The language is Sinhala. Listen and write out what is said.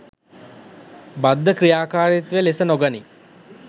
බද්ධ ක්‍රියාකාරීත්වය ලෙස නොගනී